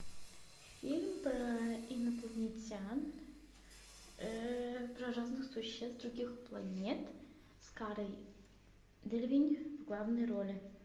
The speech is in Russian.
фильм про инопланетян про разных существ с других планет с карой делевинь в главной роли